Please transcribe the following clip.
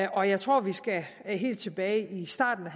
og jeg tror at vi skal helt tilbage i starten af